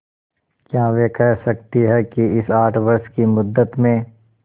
क्या वे कह सकती हैं कि इस आठ वर्ष की मुद्दत में